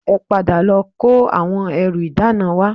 Ẹ padà lọ kó àwọn ẹrù ìdána wá